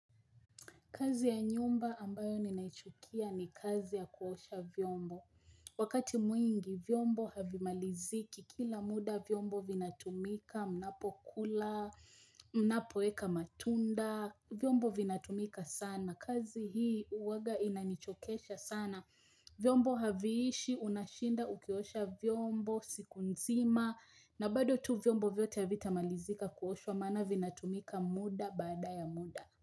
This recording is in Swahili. Kazi ya nyumba ambayo ninaichukia ni kazi ya kuosha vyombo. Wakati mwingi vyombo havimaliziki kila muda vyombo vinatumika, mnapokula, mnapoeka matunda, vyombo vinatumika sana. Kazi hii uwaga inanichokesha sana. Viombo haviishi, unashinda ukiosha viombo, siku nzima, na bado tu viombo vyote havitamalizika kuoshwa maana vinatumika muda baada ya muda.